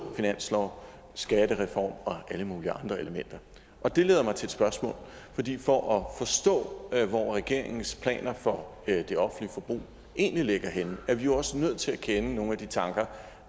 finanslov skattereform eller alle mulige andre elementer og det leder mig til et spørgsmål fordi for at forstå hvor regeringens planer for det offentlige forbrug egentlig ligger henne er vi jo også nødt til at kende nogle af de tanker